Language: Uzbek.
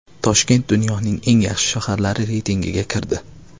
Toshkent dunyoning eng yaxshi shaharlari reytingiga kirdi.